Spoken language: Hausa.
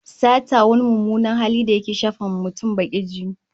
Sata wani mummunan hali da yake shafawa mutum bakin jini